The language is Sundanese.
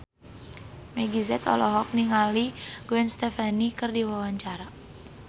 Meggie Z olohok ningali Gwen Stefani keur diwawancara